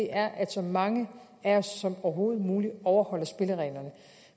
er at så mange af os som overhovedet muligt overholder spillereglerne